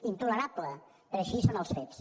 intolerable però així són els fets